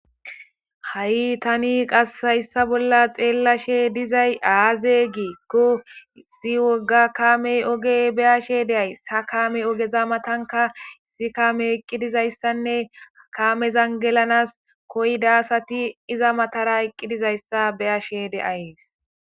ha7i tani qassayssa bolla xeellashe dizay aaze giikko zi woga kaamey oge beyashe deays ha kaamey ogeza matanka si kaame eqqidizayssanne kaamezan gelanas koydasati iza matara eqqidizayssa beyashe deays